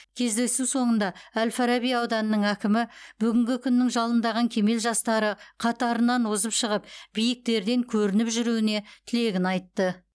кездесу соңында әл фараби ауданының әкімі бүгінгі күннің жалындаған кемел жастары қатарынан озып шығып биіктерден көрініп жүруіне тілегін айтты